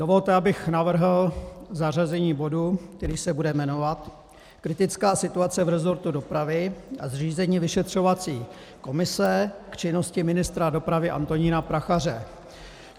Dovolte, abych navrhl zařazení bodu, který se bude jmenovat Kritická situace v resortu dopravy a zřízení vyšetřovací komise k činnosti ministra dopravy Antonína Prachaře.